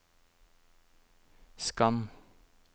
skann